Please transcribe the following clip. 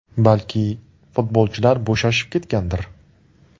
Balki, futbolchilar bo‘shashib ketgandir.